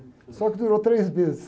Só que durou três meses.